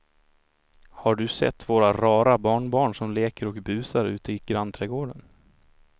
Har du sett våra rara barnbarn som leker och busar ute i grannträdgården!